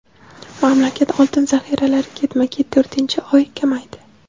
mamlakat oltin zaxiralari ketma-ket to‘rtinchi oy kamaydi.